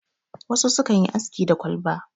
wasu sukan yi aski da kwalba